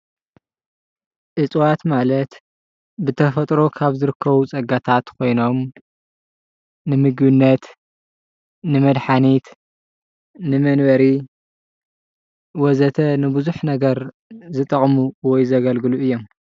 እፅዋት ማለት ብተፈጥሮ ካብ ዝርከቡ ፀጋታት ኮይኖም ንምግብነት ፣ ንመድሓኒት ፣ ንመንበሪ ወዘተ ንብዙሕ ነገር ዝጠቅሙ ወይ ዘገልግሉ እዮም ።